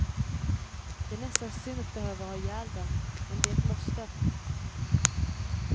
Det är nästan synd att behöva ha ihjäl dem, men det är ett måste.